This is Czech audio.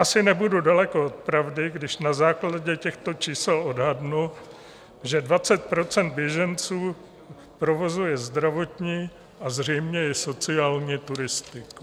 Asi nebudu daleko od pravdy, když na základě těchto čísel odhadnu, že 20 % běženců provozuje zdravotní a zřejmě i sociální turistiku.